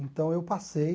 Então, eu passei.